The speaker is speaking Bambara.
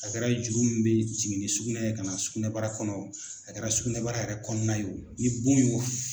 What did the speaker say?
A kɛra juru min bɛ jigin ni sugunɛ ye kana sugunɛbara kɔnɔ a kɛra sugunɛbara yɛrɛ kɔnɔna ye o ni bon ye o